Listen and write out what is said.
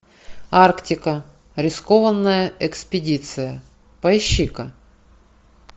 арктика рискованная экспедиция поищи ка